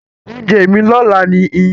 Ounje mí lọ́la ni iyán